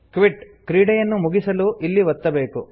quit - ಕ್ರೀಡೆಯನ್ನು ಮುಗಿಸಲು ಇಲ್ಲಿ ಒತ್ತಬೇಕು